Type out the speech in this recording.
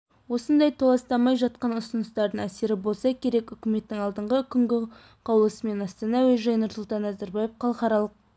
осындай толастамай жатқан ұсыныстардың әсері болса керек үкіметтің алдыңғы күнгі қаулысымен астана әуежайы нұрсұлтан назарбаев халықаралық